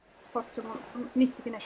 sem hún nýtti ekki neitt